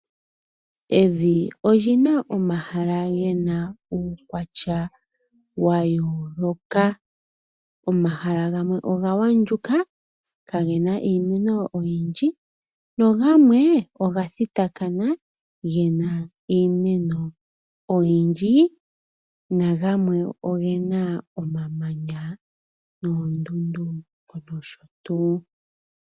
Evi olina omahala gena uukwatya wayooloka. Omahala gamwe oga wagundjuka kagena iimeno oyindji na gamwe ogathitakana gena iimeno oyindji nagamwe ohena omamanya noondundu nosho tuu.